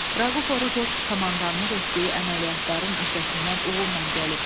Raquf Orucov komandanlıq etdiyi əməliyyatların öhdəsindən uğurla gəlib.